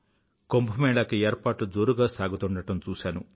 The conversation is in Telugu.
కుంభ మేళాకి ఏర్పాట్లు జోరుగా సాగుతుండడం చూశాను